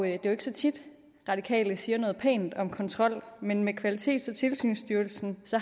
er jo ikke så tit at radikale siger noget pænt om kontrol men med kvalitets og tilsynsstyrelsen